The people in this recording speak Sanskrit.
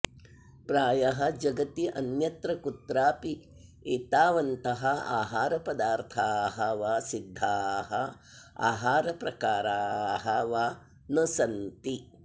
प्रायः जगति अन्यत्र कुत्रापि एतावन्तः आहारपदार्थाः वा सिद्धाः आहारप्रकाराः वा न सन्ति